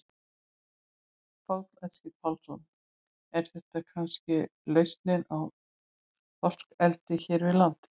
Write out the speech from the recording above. Karl Eskil Pálsson: Er þetta kannski lausnin í þorskeldi hér við land?